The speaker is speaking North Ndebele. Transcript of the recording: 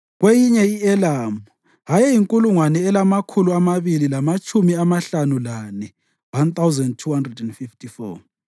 kweyinye i-Elamu ayeyinkulungwane elamakhulu amabili lamatshumi amahlanu lane (1,254),